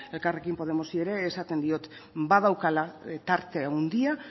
elkarrekin podemosi ere esaten diot badaukala tarte handia